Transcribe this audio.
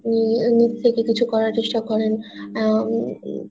নিজ থেকে কিছু করার চেস্টা করেন আহ উম